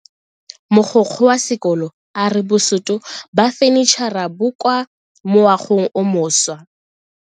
Mogokgo wa sekolo a re bosuto ba fanitšhara bo kwa moagong o mošwa.